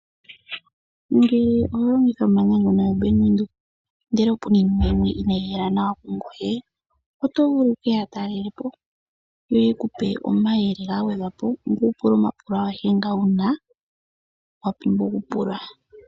Ngele oho longitha ombaanga ndjono ya bank Windhoek, ngele opu na iinima yimwe inaya yi hela nawa ku ngoye, oto vulu wu keya talelepo yo ye kupe omayele ga gwedhwa po ngweye wu pule omapulo a gehe wuna wa pumbwa okupula.